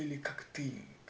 или как ты